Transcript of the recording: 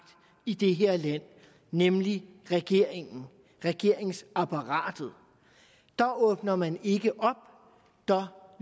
i det her land nemlig regeringen og regeringsapparatet åbner man ikke op der